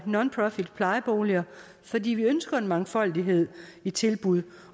nonprofitplejeboliger fordi vi ønsker en mangfoldighed i tilbud